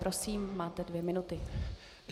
Prosím, máte dvě minuty.